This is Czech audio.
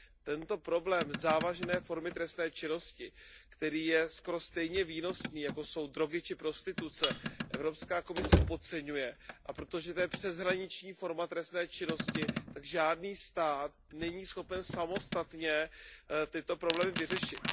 Tento problém závažné formy trestné činnosti, který je skoro stejně výnosný, jako jsou drogy či prostituce, Evropská komise podceňuje, a protože je to přeshraniční forma trestné činnosti, tak žádný stát není schopen samostatně tyto problémy vyřešit.